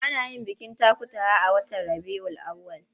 Ana yin bikin takutaha a watan Rabiyul Awwal.